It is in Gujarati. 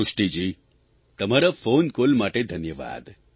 સૃષ્ટિજી તમારા ફોન કોલ માટે ધન્યવાદ